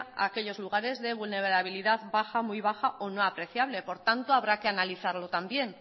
a aquellos lugares de vulnerabilidad baja muy baja o no apreciable por tanto habrá que analizarlo también